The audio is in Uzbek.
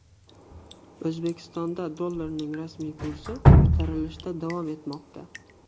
O‘zbekistonda dollarning rasmiy kursi ko‘tarilishda davom etmoqda.